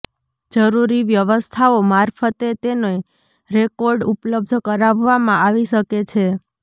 જરૂરી વ્યવસ્થાઓ મારફતે તેને રોકોર્ડ ઉપલબ્ધ કરાવવામાં આવી શકે છે